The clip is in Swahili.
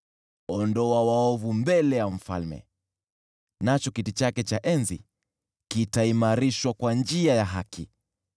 Ondoa waovu mbele ya mfalme, nacho kiti chake cha enzi kitaimarishwa kwa njia ya haki.